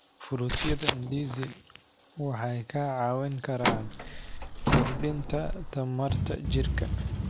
Fruityada ndizi waxay ka caawin karaan kordhinta tamarta jirka.